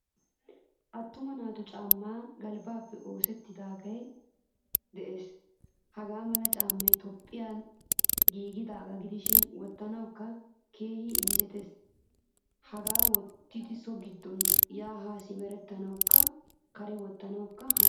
Attuma naatu caamay galbbappe oosettidage de'ees. Hagaamala caamay toophphiyan giigidaga gidishin wottanawukka keehin injjettees. Hagaa wottada so giddon ya ha simerettanawukka kare wottanawukka hanees.